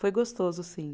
Foi gostoso, sim.